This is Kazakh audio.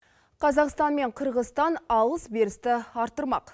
қазақстан мен қырғызстан алыс берісті арттырмақ